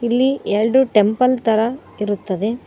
ಇಲ್ಲಿ ಎಲ್ಡು ಟೆಂಪಲ್ ತರ ಇರುತ್ತದೆ.